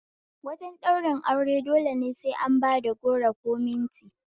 Wajen ɗaurin aure dole sai an bad goro ko minti